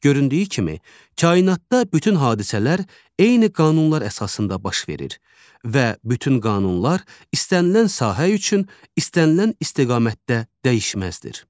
Göründüyü kimi, kainatda bütün hadisələr eyni qanunlar əsasında baş verir və bütün qanunlar istənilən sahə üçün istənilən istiqamətdə dəyişməzdir.